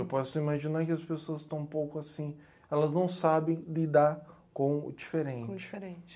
Eu posso imaginar que as pessoas estão um pouco assim, elas não sabem lidar com o diferente.